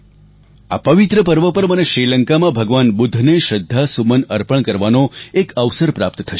આ પવિત્ર પર્વ પર મને શ્રીલંકામાં ભગવાન બુદ્ધને શ્રદ્ધાસુમન અર્પણ કરવાનો એક અવસર પ્રાપ્ત થશે